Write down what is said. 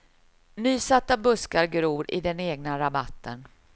Nysatta buskar gror i den egna rabatten.